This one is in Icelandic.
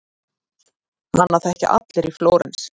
Hana þekkja allir í Flórens.